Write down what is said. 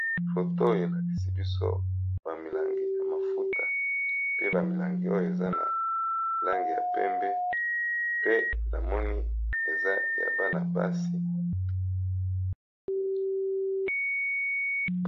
Foto oyo elakisi biso bamilangi ya mafuta pe bamilangi oyo eza na langi ya pembe pe na moni eza ya bana-basi.